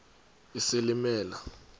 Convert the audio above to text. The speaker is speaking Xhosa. isilimela